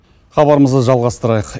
хабарымызды жалғастырайық